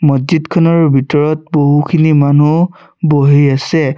মছজিদখনৰ ভিতৰত বহুখিনি মানুহ বহি আছে।